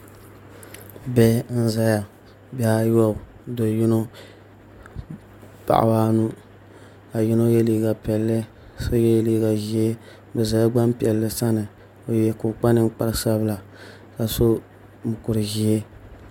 Bihi n ʒɛya bihi ayobu do yino paɣaba anu ka yino yɛ liiga piɛlli so yɛ liiga ʒiɛ bi ʒɛla Gbanpiɛli sani ka o kpa ninkpari sabila ka so mokuru ʒiɛ